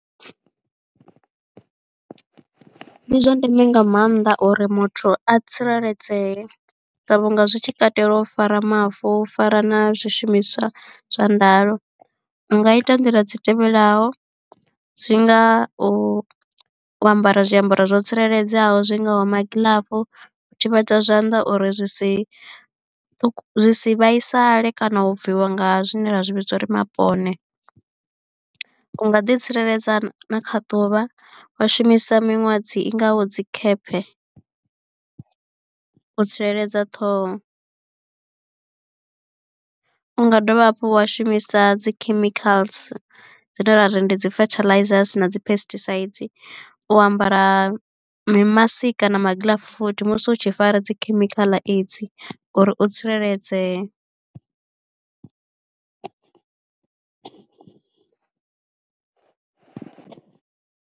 Ndi zwa ndeme nga maanḓa uri muthu a tsireledzee sa vhunga zwi tshi katela u fara mavu u fara na zwishumiswa zwa ndayo u nga ita nḓila dzi tevhelaho dzi ngau u ambara zwiambaro zwo tsireledzeaho zwi ngaho magilafu, u thivhedza zwanḓa uri zwi si zwi si vhaisale, kana u bviwa nga zwine ra zwi vhidza uri mapone. U nga ḓi tsireledza na kha ḓuvha wa shumisa miṅwadzi i ngaho dzi khephe u tsireledza ṱhoho u nga dovha hafhu wa shumisa dzi khemikhala dzine ra ri ndi dzi fertilisers na dzi phesitisaidzi u ambara mi maski kana magiḽafu futhi musi u tshi fara dzi khemikhala edzi uri u tsireledzee.